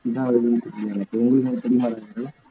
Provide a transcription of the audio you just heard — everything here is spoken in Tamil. இதாவுதுன்னு தெரியல எதுவுமே தெரிய மாட்டுது